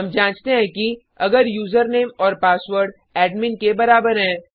हम जांचते हैं कि अगर यूजरनेम और पासवर्ड एडमिन के बराबर हैं